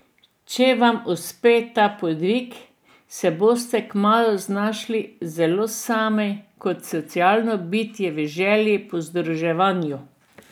Če vam uspe ta podvig, se boste kmalu znašli zelo sami in kot socialno bitje v želji po združevanju.